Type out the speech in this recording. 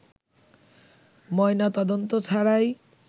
ময়নাতদন্ত ছাড়াই